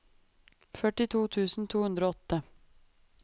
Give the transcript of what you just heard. førtito tusen to hundre og åtte